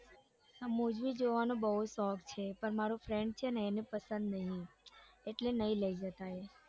હા મુવી જોવાનો બઉ શોખ છે પણ મારો friend છે ને એને પસંદ નથી એટલે નઈ લઇ જતા એ.